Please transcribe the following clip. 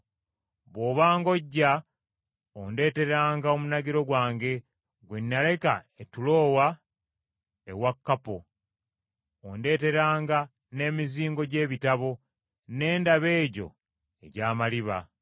Bw’obanga ojja ondeeteranga omunagiro gwange gwe naleka e Tulowa ewa Kappo. Ondeeteranga n’emizingo gy’ebitabo, na ddala egyo egy’amaliba.